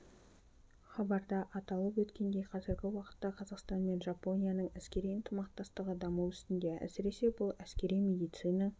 хабарда аталып өткендей қазіргі уақытта қазақстан мен жапонияның әскери ынтымақтастығы даму үстінде әсіресе бұл әскери медицина